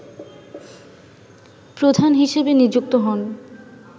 প্রধান হিসেবে নিযুক্ত হন